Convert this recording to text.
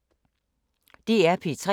DR P3